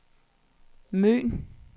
Møn